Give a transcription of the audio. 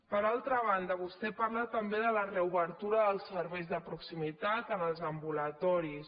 per altra banda vostè parla també de la reobertura dels serveis de proximitat en els ambulatoris